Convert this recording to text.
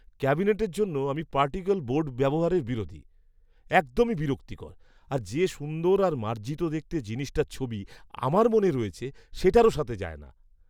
ক্যাবিনেটের জন্য আমি পার্টিকল বোর্ড ব্যবহারের বিরোধী। একদমই বিরক্তিকর, আর যে সুন্দর আর মার্জিত দেখতে জিনিসটার ছবি আমার মনে রয়েছে সেটার সাথেও যায় না।